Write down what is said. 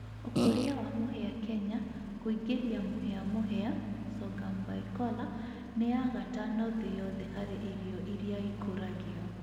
Ũkũria wa mũhĩa Kenya Kũingĩria mũhĩa mũhĩa (sorghum bicolor) ni ya gatano thĩ yothe harĩ irio iria ikũragio